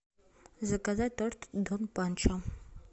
заказать торт дон панчо